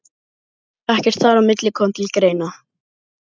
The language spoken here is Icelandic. Ekkert þar á milli kom til greina.